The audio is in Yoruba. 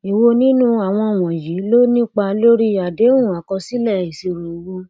èwo nínú àwọn wọnyí ló nípa lórí àdéhùn akosile isiro owo